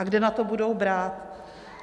A kde na to budou brát?